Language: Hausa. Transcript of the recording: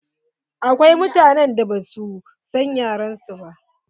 Akwai mutanen da ba sua son yin yaren su.